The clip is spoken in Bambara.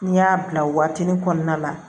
N'i y'a bila o waatinin kɔnɔna na